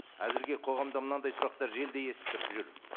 әзірге қоғамда мынандай сұрақтар желіде естіліп тұр жүр